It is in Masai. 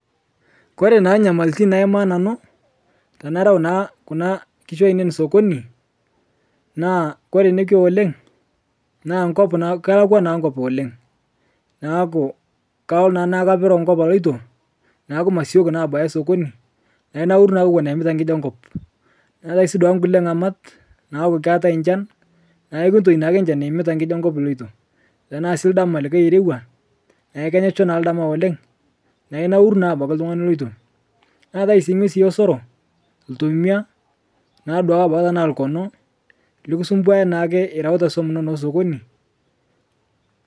Kore naa nyamaltin naemaa nanu, tanarau taa kuna kishu ainen sokoni naa kore nekwe oleng',naa nkop kelekwa naa nkop oleng',naku kalo naa naa kapero nkop aloto naaku masioki abaya sokoni nainauru naake ewon aimita nkiji enkop. Natae dwaake nkule ng'amat, naaku keatae nchan naaku kutoi naake nchan iimita nkiji enkop iloto. Tanaa sii ldama likae orewa naakeinyesho naa ldama oleng' naa inauru naa abaki ltung'ani iloto. Neatae sii ng'wesi esoro, ltomia tanaa sii lkono likisomboyia irauta nkishu inono sokoni.